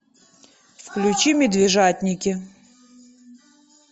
включи медвежатники